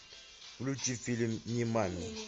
включи фильм нимани